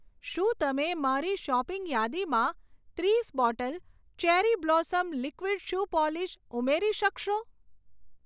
શું તમે મારી શોપિંગ યાદીમાં ત્રીસ bottle cherry blossom liquid shoe polish ઉમેરી શકશો?